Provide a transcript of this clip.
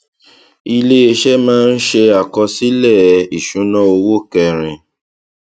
iléeṣẹ máa ń ṣe àkọsílẹ ìṣúnná owó kẹrin